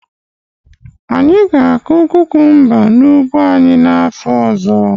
Anyi ga-akụ kukumba n'ugbo anyị n'afọ ọzọ.